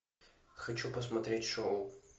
хочу посмотреть шоу